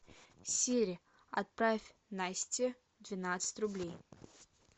сири отправь насте двенадцать рублей